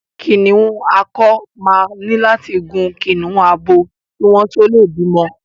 Kìnnìún akọ máa ní láti gun kìnnìún abo kí wọ́n tó lè bímọ.